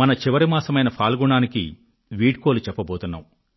మన చివరి మాసమైన ఫాల్గుణానికి వీడ్కోలు చెప్పబోతున్నాం